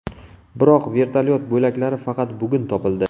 Biroq vertolyot bo‘laklari faqat bugun topildi.